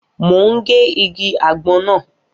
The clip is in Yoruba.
Mo ń gé igi àgbon náà.